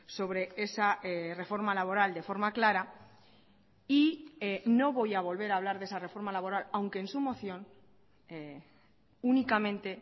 sobre esa reforma laboral de forma clara y no voy a volver a hablar de esa reforma laboral aunque en su moción únicamente